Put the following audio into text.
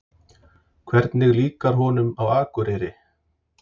Hvernig líkar honum á Akureyri?